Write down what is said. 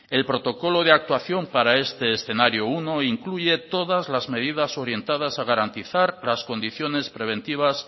el protocolo de actuación para este escenario uno incluye todas las medidas orientadas a garantizar las condiciones preventivas